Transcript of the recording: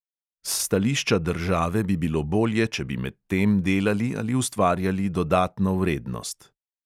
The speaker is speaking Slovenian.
S stališča države bi bilo bolje, če bi medtem delali ali ustvarjali dodatno vrednost.